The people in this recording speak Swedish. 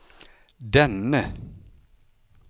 denne